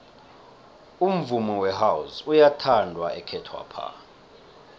umvumo wehouse uyathandwa ekhethwapha